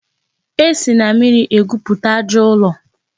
E si na mmiri egwupụta aja ụlọ.